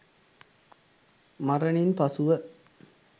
මරණින් පසුව